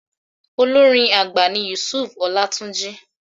Olórin àgbà ni Yusuf Ọlátúnjí.